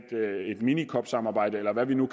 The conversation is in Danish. mini cop samarbejde eller hvad vi nu